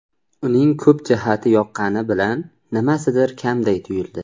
Uning ko‘p jihati yoqqani bilan, nimasidir kamday tuyuldi.